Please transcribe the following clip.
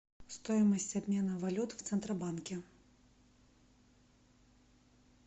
стоимость обмена валют в центробанке